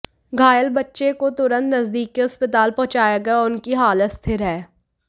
घायल बच्चे को तुरंत नजदीक के अस्पताल पहुंचाया गया और उसकी हालत स्थिर है